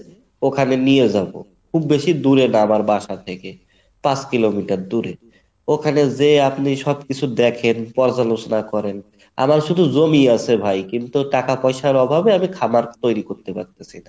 ওখানে নিয়ে যাবো। খুব বেশি দূরে না আমার বাসা থেকে পাঁচ kilometer দূরে ওখানে যেয়ে আপনি সবকিছু দেখেন পর্যালোচনা করেন আমার শুধু জমি আছে ভাই কিন্তু টাকাপয়সার অভাবে আমি খামার তৈরী করতে পারতেছি না